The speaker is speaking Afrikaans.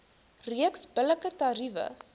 reeks billike tariewe